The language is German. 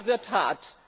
Der Winter wird hart.